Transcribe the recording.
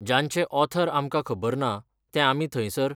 जांचे ऑथर आमकां खबर ना, ते आमी थंयसर